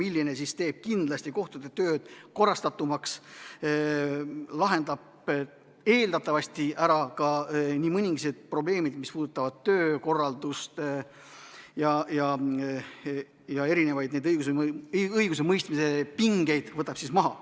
See tulevane seadus teeb kindlasti kohtute töö korrastatumaks, lahendab eeldatavasti ära ka mõningased probleemid, mis puudutavad töökorraldust, ja võtab üldse õigusemõistmise pingeid maha.